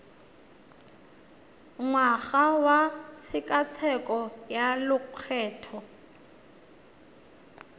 ngwaga wa tshekatsheko ya lokgetho